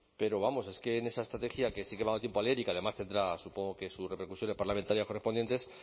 pero vamos es que en esa estrategia que sí que me ha dado tiempo a leer y que además tendrá supongo que sus repercusiones parlamentarias correspondientes